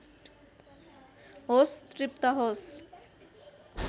होस तृप्त होस